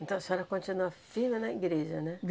Então a senhora continua firme na igreja, né?